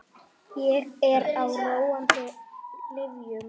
Ég er á róandi lyfjum.